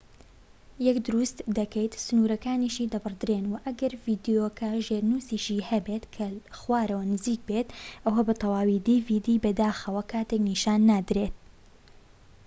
بەداخەوە، کاتێک dvdیەک دروست دەکەیت، سنوورەکانیشی دەبڕدرێن، و ئەگەر ڤیدیۆکە ژێرنووسیشی هەبێت کە لە خوارەوە نزیک بێت، ئەوە بە تەواوی نیشان نادرێن